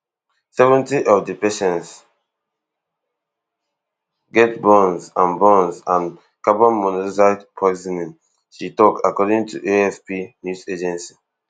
seventy of di patients get burns and burns and carbon monoxide poisoning she tok according to afp news agency